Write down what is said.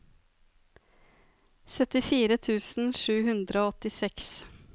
syttifire tusen sju hundre og åttiseks